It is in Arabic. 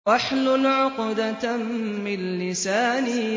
وَاحْلُلْ عُقْدَةً مِّن لِّسَانِي